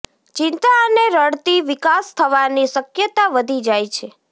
ચિંતા અને રડતી વિકાસ થવાની શક્યતા વધી જાય છે